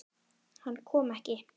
Hann kom ekki.